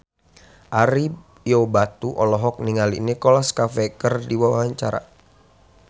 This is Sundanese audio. Ario Batu olohok ningali Nicholas Cafe keur diwawancara